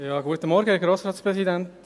Ich nehme es vorweg: